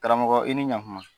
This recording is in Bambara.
Karamɔgɔ i ni ɲan kuma.